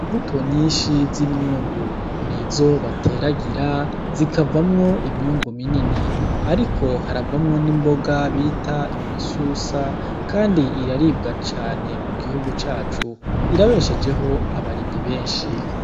Imbuto nyishi z'imyungu nizo bateragira zikavamwo imyungu minini ariko haravamwo n' imboga bita isusa kandi iraribwa cane mugihugu cacu irabeshejeho abarimyi benshi.